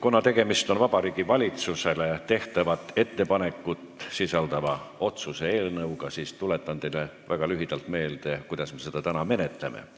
Kuna tegemist on Vabariigi Valitsusele tehtavat ettepanekut sisaldava otsuse eelnõuga, tuletan teile väga lühidalt meelde, kuidas me seda täna menetleme.